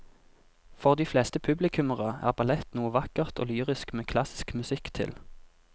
For de fleste publikummere er ballett noe vakkert og lyrisk med klassisk musikk til.